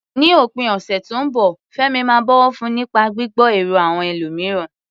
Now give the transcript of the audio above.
Ní òpin ọ̀sẹ̀ tó ń bọ̀, Fẹ́mi máa bọ̀wọ̀ fún nípa gbígbọ́ èrò àwọn ẹlòmíràn.